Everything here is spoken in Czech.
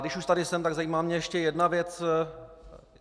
Když už tady jsem, tak zajímá mě ještě jedna věc.